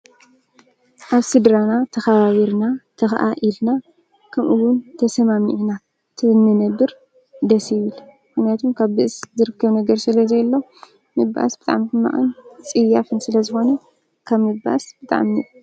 ኣብ ሥድራና ተኻባቢርና ተኸዓ ኢልና ኽምኡውን ተሰማሚእኢና ትንነብር ደሴብል ሕነቱም ካብ ብእስ ዝርከ ነገር ስለ ዘሎ ምባእስ ብጣምኩ መኣን ጽያፍን ስለ ዝኾነ ካብ ምባእስ ብጣኒ